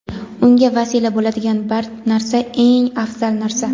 unga vasila bo‘ladigan narsa eng afzal narsa.